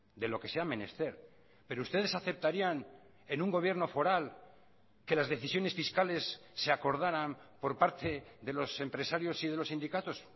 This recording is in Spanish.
de lo que sea menester pero ustedes aceptarían en un gobierno foral que las decisiones fiscales se acordaran por parte de los empresarios y de los sindicatos